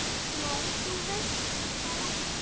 Nei, þú veist það ekki.